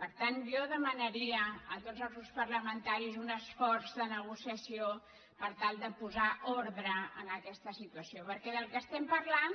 per tant jo demanaria a tots els grups parlamentaris un esforç de negociació per tal de posar ordre a aquesta situació perquè del que parlem